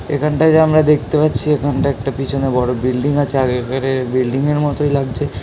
এখানটায় যে আমরা দেখতে পাচ্ছি এখানটায় একটা পিছনে বড়ো বিল্ডিং আছে আর একারে বিল্ডিং এর মতোই লাগছে।